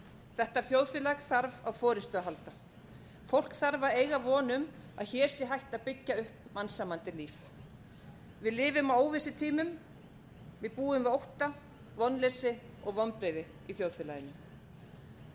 þetta þjóðfélag þarf á forustu að halda fólk þarf að eiga von um að hér sé hægt að byggja upp mannsæmandi líf við lifum á óvissutímum við búum við ótta vonleysi og vonbrigði í þjóðfélaginu